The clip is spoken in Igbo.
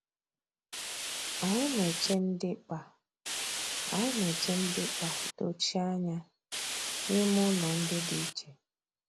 Anyị na-eche ndịkpa Anyị na-eche ndịkpa dochie anya n’ime ụlọ ndị dị iche.